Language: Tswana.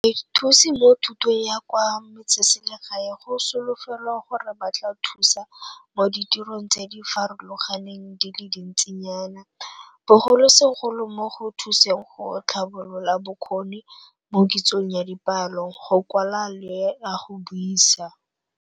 Bathusi mo Thutong ya kwa Metseselegae go solofelwa gore ba tla thusa mo ditirong tse di farologaneng di le dintsinyana, bogolosegolo mo go thuseng go tlhabolola bokgoni mo kitsong ya dipalo, go kwala le ya go buisa.